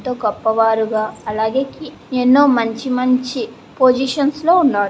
ఎంతో గొప్ప వారిగా అలాగే ఎన్నో మంచి మంచి పొజిషన్స్ లో ఉన్నారు.